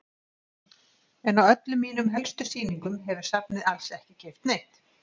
En á öllum mínum helstu sýningum hefur safnið alls ekki keypt neitt.